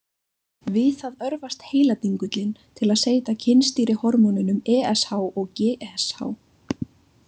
Við það örvast heiladingullinn til að seyta kynstýrihormónunum ESH og GSH.